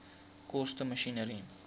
koste masjinerie